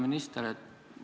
Hea minister!